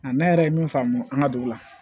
Nka ne yɛrɛ ye min faamu an ka dugu la